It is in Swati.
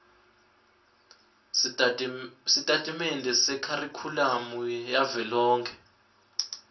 sitatimende sekharikhulamu yavelonkhe